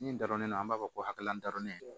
Min darenen don an b'a fɔ ko hakilila dɔrɔlen don